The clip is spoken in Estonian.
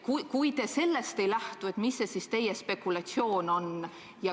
Kui te sellest ei lähtu, siis mis on teie spekulatsioon?